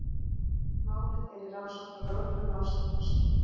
Málið er í rannsókn hjá lögreglunni á Selfossi.